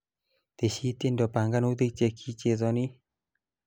teshi tiendo panganutik chekichezoni